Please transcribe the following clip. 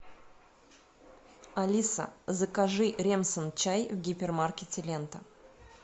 алиса закажи ремсан чай в гипермаркете лента